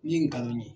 Ni ye ngalon ye